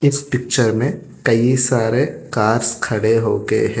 इस पिक्चर में कई सारे कार्स खड़े हो के हैं।